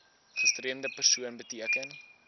gestremde persoon beteken